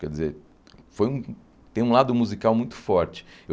Quer dizer, foi um tem um lado musical muito forte.